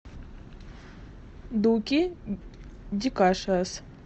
дуки ди кашиас